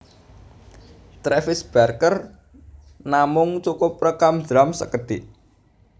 Travis Barker namung cukup rékam drum sékedhik